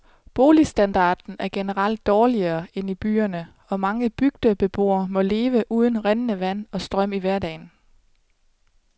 Boligstandarden er generelt dårligere end i byerne, og mange bygdebeboere må leve uden rindende vand og strøm i hverdagen.